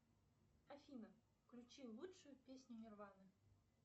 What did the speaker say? афина включи лучшую песню нирваны